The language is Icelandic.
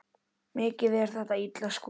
Mikið er þetta illa skúrað.